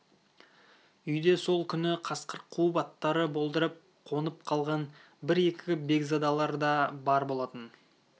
үйде сол күні қасқыр қуып аттары болдырып қонып қалған бір-екі бекзадалар да бар болатын